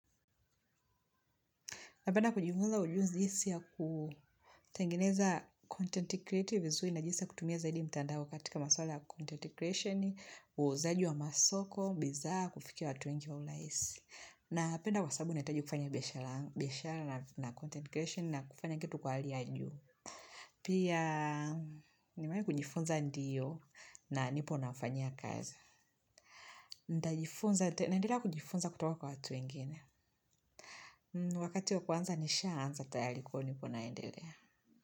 Napenda kujifunza ujuzi si ya kutengineza content creative vizui na jisa kutumia zaidi mtandao katika maswala content creation, uzaaji wa masoko, bizaa kufikia watu wengi wa ulaisi. Napenda kwa sabu netaji kufanya biyashara na content creation na kufanya kitu kwa hali ya juu. Pia nimewai kujifunza ndiyo na nipo nafanya kaza. Ndajifunza naendelea kujifunza kutoka kwa watu wengine. Wakati ya kuanza nisha anza tayali kwa hiyo niko naendelea. Kwa hivyo.